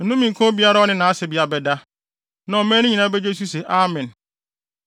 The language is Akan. “Nnome nka obiara a ɔne nʼasebea bɛda.” Na ɔman no nyinaa begye so se, “Amen!”